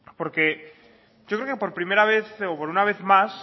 yo creo que por primera vez o por una vez más